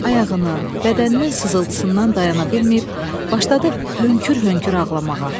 Ayağının, bədəninin sızıltısından dayana bilməyib başladı hönkür-hönkür ağlamağa.